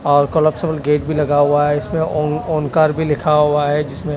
और collapsible gate भी लगा हुआ है इसमें ओनकर भी लिखा हुआ है जिसमें--